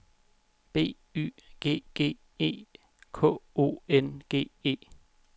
B Y G G E K O N G E